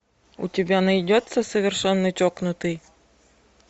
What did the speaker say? у тебя найдется совершенно чокнутый